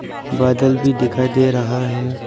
बादल भी दिखाई दे रहा है।